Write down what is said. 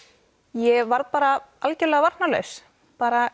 ég varð bara algjörlega varnarlaus bara